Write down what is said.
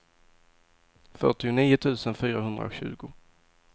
fyrtionio tusen fyrahundratjugo